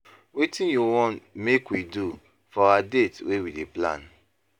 Wetin you wan make we do for our date wey we dey plan?